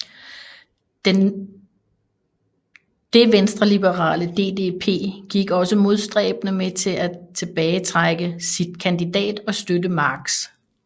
Det venstreliberale DDP gik også modstræbende med til at tilbagetrække sin kandidat og støtte Marx